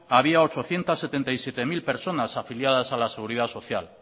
había ochocientos setenta y siete mil personas afiliadas a la seguridad social